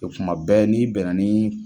O kuma bɛɛ n'i bɛnna ni